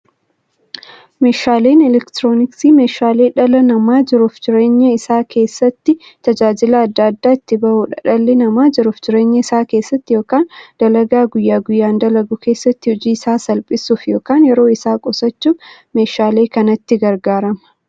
Meeshaaleen elektirooniksii meeshaalee dhalli namaa jiruuf jireenya isaa keessatti, tajaajila adda addaa itti bahuudha. Dhalli namaa jiruuf jireenya isaa keessatti yookiin dalagaa guyyaa guyyaan dalagu keessatti, hojii isaa salphissuuf yookiin yeroo isaa qusachuuf meeshaalee kanatti gargaarama.